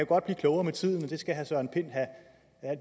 godt blive klogere med tiden og det skal herre søren pind have